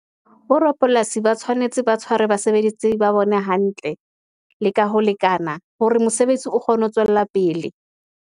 Bo rapolasi ba tshwanetse ba tshware basebetsi ba bone hantle, le ka ho lekana, hore mosebetsi o kgone ho tswella pele.